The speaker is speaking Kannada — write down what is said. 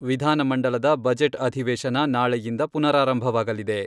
ವಿಧಾನಮಂಡಲದ ಬಜೆಟ್ ಅಧಿವೇಶನ ನಾಳೆಯಿಂದ ಪುನಾರಾರಂಭವಾಗಲಿದೆ.